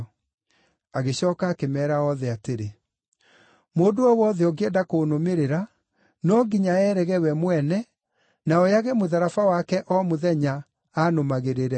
Agĩcooka akĩmeera othe atĩrĩ, “Mũndũ o wothe ũngĩenda kũnũmĩrĩra, no nginya eerege we mwene, na oyage mũtharaba wake o mũthenya, aanũmagĩrĩre.